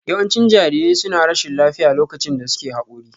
Yawancin jarirai suna rashin lafiya lokacin da suke Haƙori